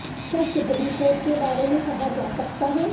کیا supreme court کے بارے میں کہا جا سکتا ہے